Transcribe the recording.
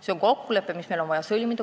See on kokkulepe, mis meil on vaja sõlmida.